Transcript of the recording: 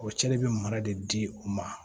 O cɛ de bɛ mara de di u ma